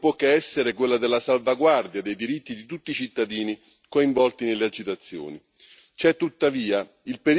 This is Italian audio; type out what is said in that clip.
La nostra principale preoccupazione non può che essere quella della salvaguardia dei diritti di tutti i cittadini coinvolti nelle agitazioni.